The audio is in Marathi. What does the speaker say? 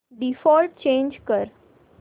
डिफॉल्ट चेंज कर